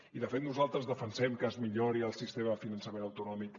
i de fet nosaltres defensem que es millori el sistema de finançament autonòmic